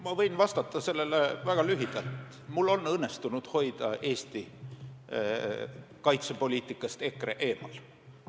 Ma võin vastata sellele väga lühidalt: mul on õnnestunud hoida EKRE Eesti kaitsepoliitikast eemal.